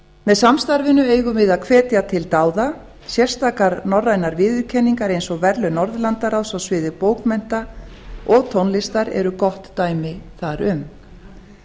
með samstarfinu eigum við að hvetja til dáða sérstakar norrænar viðurkenningar eins og verðlaun norðurlandaráðs á sviði bókmennta og tónlistar eru gott dæmi þar um